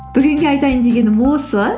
бүгінге айтайын дегенім осы